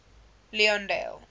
leondale